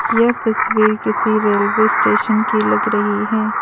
यह तस्वीर किसी रेलवे स्टेशन की लग रही है।